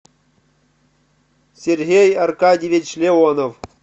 сергей аркадьевич леонов